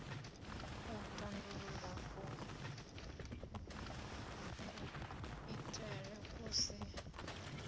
u tandulula kuitele ku si